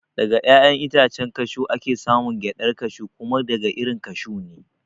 Daga ƴaƴan itacen kashew ake samun gyaɗar kashew kuma daga irin kashu ne